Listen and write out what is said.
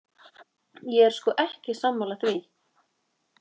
Ég er sko ekki sammála því.